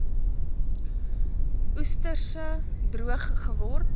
oesreste droog geword